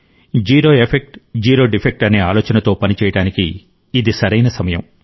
శూన్య ప్రభావం శూన్య లోపం అనే ఆలోచనతో పనిచేయడానికి ఇది సరైన సమయం